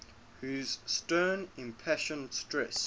whose stern impassioned stress